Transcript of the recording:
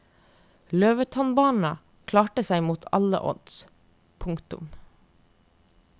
Løvetannbarna klarte seg mot alle odds. punktum